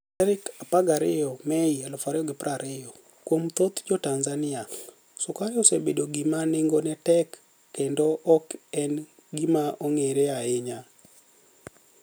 12 Mei 2020 Kuom thoth jo Tanizaniia, sukari osebed gima ni enigoni e tek kenido ok eni gima onigere ahiya